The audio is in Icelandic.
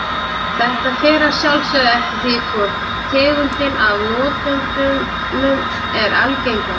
Þetta fer að sjálfsögðu eftir því hvor tegundin af notendunum er algengari.